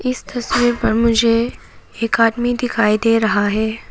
इस तस्वीर पर मुझे एक आदमी दिखाई दे रहा है।